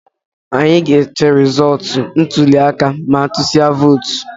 Anyị ga-eche resọọtu ntụliaka ma a tusịa vootu